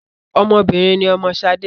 Ọmọ obìnrin ni ọmọ Ṣadé